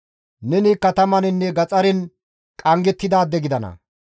Neni katamaninne gaxaren qanggettidaade gidana.